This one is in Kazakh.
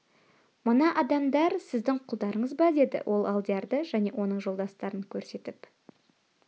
мына адамдар сіздің құлдарыңыз ба деді ол алдиярды және оның жолдастарын көрсетіп